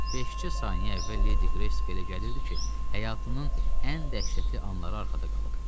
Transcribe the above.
Beşcə saniyə əvvəl Ledi Qreysə elə gəlirdi ki, həyatının ən dəhşətli anları arxada qalıb.